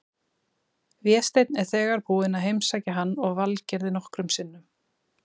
Vésteinn er þegar búinn að heimsækja hann og Valgerði nokkrum sinnum.